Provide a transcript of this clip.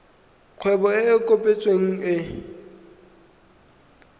kgwebo e e kopetsweng e